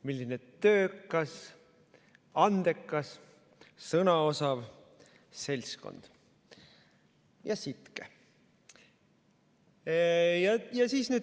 Milline töökas, andekas, sõnaosav seltskond, ja sitke!